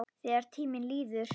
Þegar tíminn líður